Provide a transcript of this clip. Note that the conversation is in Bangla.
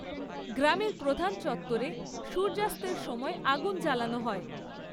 গ্রামের প্রধান চত্বরে সূর্যাস্তের সময় আগুন জ্বালানো হয়।